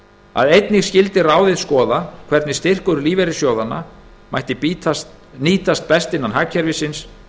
að ráðið skyldi einnig skoða hvernig styrkur lífeyrissjóðanna mætti nýtast best innan hagkerfisins